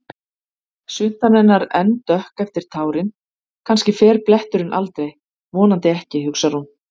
Svuntan hennar enn dökk eftir tárin, kannski fer bletturinn aldrei, vonandi ekki, hugsar hún.